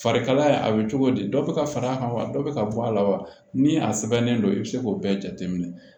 Farikalaya a bɛ cogo di dɔ bɛ ka far'a kan wa dɔ bɛ ka bɔ a la wa ni a sɛbɛnnen don i bɛ se k'o bɛɛ jateminɛ